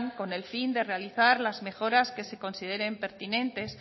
con el fin de realizar las mejoras que se consideren pertinente